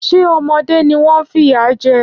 Ṣé ọmọdé ni wọ́n ń fìyà jẹ ẹ́?